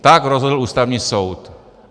Tak rozhodl Ústavní soud.